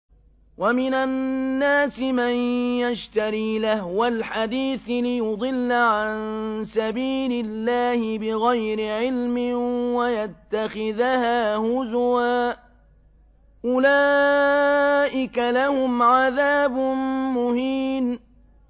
وَمِنَ النَّاسِ مَن يَشْتَرِي لَهْوَ الْحَدِيثِ لِيُضِلَّ عَن سَبِيلِ اللَّهِ بِغَيْرِ عِلْمٍ وَيَتَّخِذَهَا هُزُوًا ۚ أُولَٰئِكَ لَهُمْ عَذَابٌ مُّهِينٌ